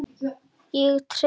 Ég treysti þér alveg!